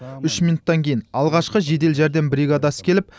үш минуттан кейін алғашқы жедел жәрдем бригадасы келіп